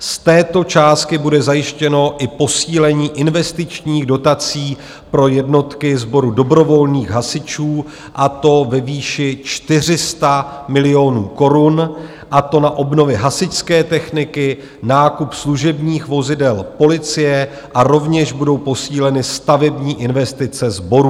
Z této částky bude zajištěno i posílení investičních dotací pro jednotky sboru dobrovolných hasičů, a to ve výši 400 milionů korun, a to na obnovy hasičské techniky, nákup služebních vozidel policie, a rovněž budou posíleny stavební investice sborů.